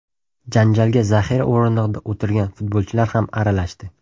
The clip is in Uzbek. Janjalga zaxira o‘rindig‘ida o‘tirgan futbolchilar ham aralashdi.